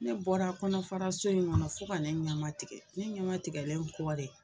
Ne bɔra kɔnɔfaraso in ŋɔnɔ fo ka ne ɲamatigɛ, ne ɲamatigɛlen kɔ de